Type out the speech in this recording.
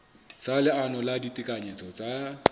sa leano la ditekanyetso tsa